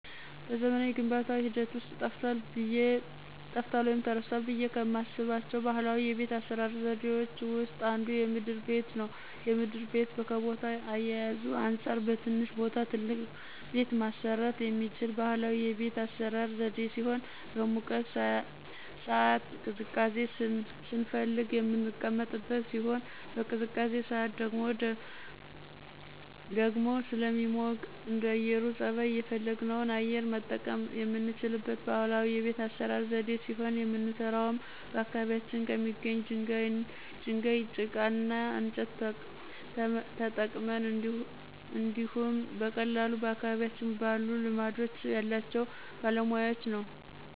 በዘመናዊ የግንባታ ሂደት ውስጥ ጠፍቷል ወይም ተረስቷል ብዬ ከማስባቸው ባህላዊ የቤት አሰራር ዘዴዎች ውስጥ አንዱ የምድር ቤት ነው። የምድር ቤት ከቦታ አያያዙ አንፃር በትንሽ ቦታ ትልቅ ቤት ማሰራት የሚችል ባህላዊ የቤት አሰራር ዘዴ ሲሆን በሙቀት ሳዓት ቅዝቃዜ ስንፈልግ የምንቀመጥበት ሲሆን በቅዝቃዜ ሳዓት ደግሞ ደግሞ ስለሚሞቅ እንደአየሩ ፀባይ የፈለግነውን አየር መጠቀም የምንችልበት ባህላዊ የቤት አሰራር ዘዴ ሲሆን የምንሰራውም በአካባቢያችን ከሚገኝ ድንጋይ፣ ጭቃ እና እንጨት ተጠቅመን እንዲሁኝ በቀላሉ በአካባቢያችን ባሉ ልማድ ያላቸው ባለሙያወች ነው።